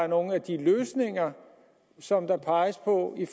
nogle af de løsninger som der peges på i